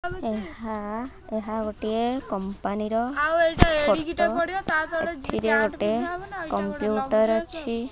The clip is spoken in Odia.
ଏହା ଗୋଟିଏ କଂପାନୀ ର ଫୋଟୋ ଏଥିରେ ଗୋଟେ କମ୍ପ୍ୟୁଟର ଅଛି।